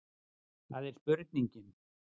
Það er spurningin.